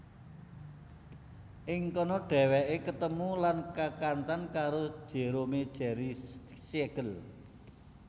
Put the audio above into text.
Ing kana dhèwèké ketemu lan kekancan karo Jerome Jerry Siegel